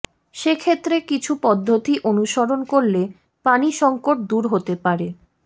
সে ক্ষেত্রে কিছু পদ্ধতি অনুসরণ করলে পানি সংকট দূর হতে পারে